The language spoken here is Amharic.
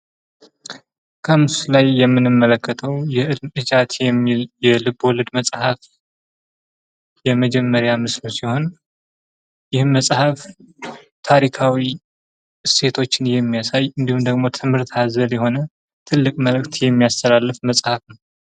ከምስሉ ላይ የምንመለከተው የእልም እዣት የሚለ የልቦለድ መጽሃፍ የመጀመሪያ ገጽ ሲሆን ይህም መጽሃፍ ታሪካዊ እሲቶችን የሚያሳይ እንዲሁም ደግሞ ትምህርት አዘል የሆነ ትልቅ መልእክት የሚያስተላልፍ መጽሃፍ ነው።